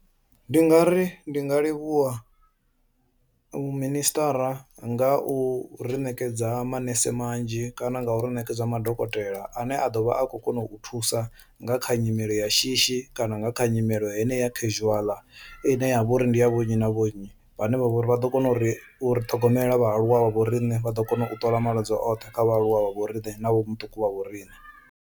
Ndi nga ri ndi nga livhuwa muminisiṱa mara nga u ri ṋekedza manese manzhi kana nga uri ṋekedza madokotela ane a ḓovha a khou kona u thusa nga kha nyimele ya shishi kana nga kha nyimele heneya casual ine ya vha uri ndi ya vho nnyi na vho nnyi, vhane vha vhori vha ḓo kona uri uri ṱhogomela vhaaluwa vha vho riṋe vha ḓo kona u ṱola malwadze oṱhe kha vhaaluwa vha vhoriṋe na vho muṱuku vha vho riṋe.